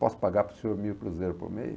Posso pagar para o senhor mil cruzeiros por mês?